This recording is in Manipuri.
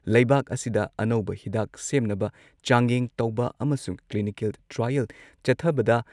ꯂꯩꯕꯥꯛ ꯑꯁꯤꯗ ꯑꯅꯧꯕ ꯍꯤꯗꯥꯛ ꯁꯦꯝꯅꯕ ꯆꯥꯡꯌꯦꯡ ꯇꯧꯕ ꯑꯃꯁꯨꯡ ꯀ꯭꯭ꯂꯤꯅꯤꯀꯦꯜ ꯇ꯭ꯔꯥꯏꯌꯦꯜ ꯆꯠꯊꯕꯗ